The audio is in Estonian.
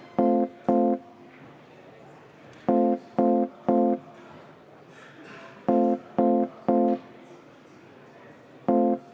Palun võtta seisukoht ja hääletada!